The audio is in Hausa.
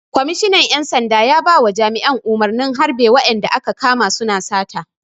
Kwamishinan ƴan sanda ya bawa jami'an umarnin harɓe wa'inda aka kama su na sata!